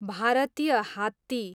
भारतीय हात्ती